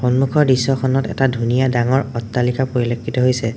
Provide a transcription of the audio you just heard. সন্মুখৰ দৃশ্যখনত এটা ধুনীয়া ডাঙৰ অট্টালিকা পৰিলক্ষিত হৈছে।